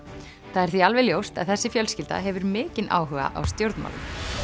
það er því alveg ljóst að þessi fjölskylda hefur mikinn áhuga á stjórnmálum